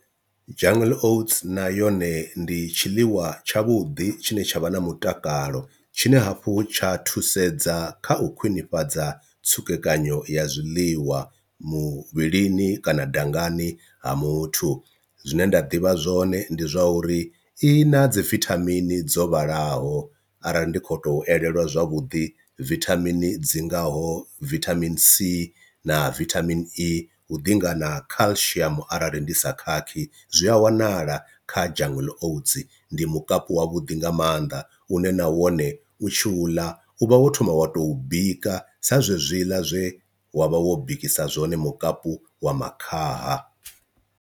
Jungle oats na yone ndi tshiḽiwa tshavhuḓi tshine tsha vha na mutakalo tshine hafhu tsha thusedza kha u khwinifhadza tsukekanyo ya zwiḽiwa muvhilini kana dangani ha muthu, zwine nda ḓivha zwone ndi zwa uri i na dzi vithamini dzo vhalaho arali ndi kho to elelwa zwavhuḓi vithamini dzi ngaho, vithamini c na vitamin e ḓi ngana calcium arali ndi sa khakhisi zwi a wanala kha jungle oats, ndi mukapu wa vhuḓi nga mannḓa une na wone u tshi u ḽa u vha wo thoma wa tou bika sa zwezwiḽa zwe wa vha wo bikisa zwone mukapu wa makhaha.